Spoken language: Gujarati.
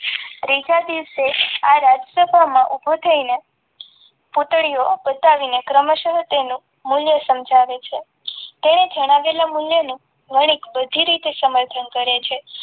ત્રીજા દિવસે આ રાજસભામાં ઊભો થઈને પૂતળીઓ બતાવીને ક્રમશઃ તેનું મૂલ્ય સમજાવે છે તેને જણાવેલા મૂલ્યનું વણિક બધી રીતે સમર્થન કરે છે.